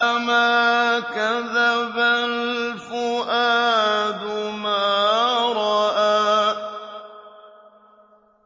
مَا كَذَبَ الْفُؤَادُ مَا رَأَىٰ